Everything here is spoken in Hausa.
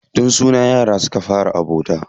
Tun suna yara suka fara abota.